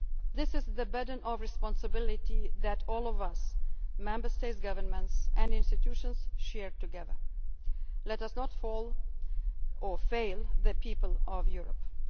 growth and jobs. This is the burden of responsibility that all of us Member State governments and institutions share together. Let us not fail the